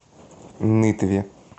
нытве